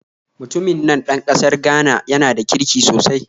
Mutumin nan ɗan ƙasar Ghana yana da kirki sosai